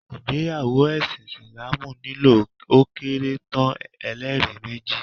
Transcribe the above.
ìgbéyàwó ẹṣin Isilaamu nílò ó kéré tán, ẹ́lẹ́rìí méjì